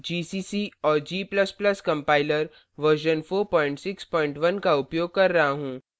Ubuntu पर gcc और g ++ compiler version 461 का उपयोग कर रहा हूँ